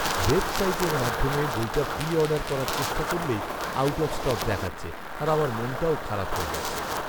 ওয়েবসাইটের মাধ্যমে বইটা প্রি অর্ডার করার চেষ্টা করলেই আউট অফ স্টক দেখাচ্ছে আর আমার মনটাও খারাপ হয়ে যাচ্ছে।